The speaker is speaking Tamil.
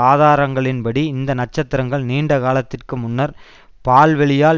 ஆதாரங்களின்படி இந்த நட்சத்திரங்கள் நீண்ட காலத்திற்கு முன்னர் பால்வெளியால்